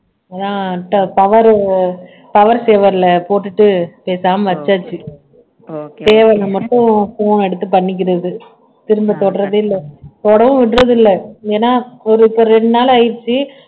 நான் power power saver ல போட்டுட்டு பேசாம வச்சாச்சு தேவையில்லாம மட்டும் phone எடுத்து பண்ணிக்கிறது திரும்ப தொடுறதே இல்ல தொடவும் விடறதில்லை ஏன்னா ஒரு இப்ப ரெண்டு நாள் ஆயிருச்சு